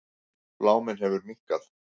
Bláminn hefur minnkað.